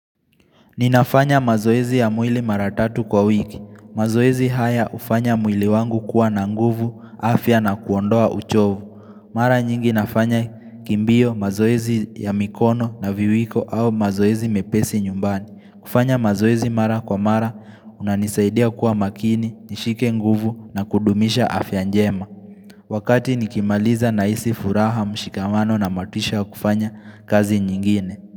Ninafanya mazoezi ya mwili mara tatu kwa wiki, mazoezi haya hufanya mwili wangu kuwa na nguvu, afya na kuondoa uchovu, mara nyingi nafanya kimbio mazoezi ya mikono na viwiko au mazoezi mepesi nyumbani, kufanya mazoezi mara kwa mara inanisaidia kuwa makini, nishike nguvu na kudumisha afya njema, wakati nikimaliza na isi furaha mshikamano na matisha kufanya kazi nyingine.